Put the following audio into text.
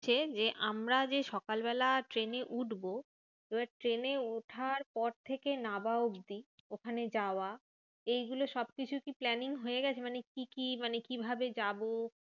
যে আমরা যে সকালবেলা ট্রেনে উঠবো, এবার ট্রেনে ওঠার পর থেকে নাবা অবধি ওখানে যাওয়া। এইগুলো সবকিছু কি planning হয়ে গেছে? মানে কি কি মানে কিভাবে যাবো?